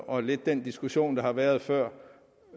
og lidt den diskussion der har været før